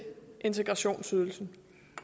integrationsydelsen